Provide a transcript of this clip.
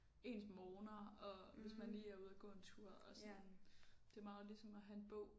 Ens morgener og hvis man lige er ude og gå en tur og sådan det er meget ligesom at have en bog